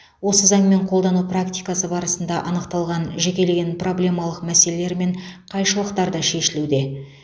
осы заңмен қолдану практикасы барысында анықталған жекелеген проблемалық мәселелер мен қайшылықтар да шешілуде